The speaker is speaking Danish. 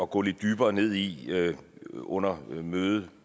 gå lidt dybere ned i under mødet